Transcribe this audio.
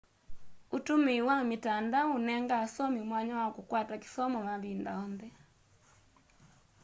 ûtũmĩĩ wa mitandao ũnenga asomĩ mwanya wa kũkwata kĩsomo mavĩnda onthe